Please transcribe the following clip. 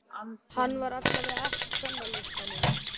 Hann var allavega ekki í Kvennalistanum.